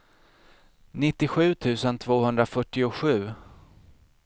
nittiosju tusen tvåhundrafyrtiosju